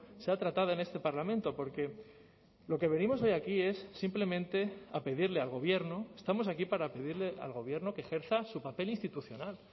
sea tratada en este parlamento porque lo que venimos hoy aquí es simplemente a pedirle al gobierno estamos aquí para pedirle al gobierno que ejerza su papel institucional